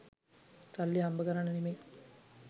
සල්ලි හම්බ කරන්න නෙමේ.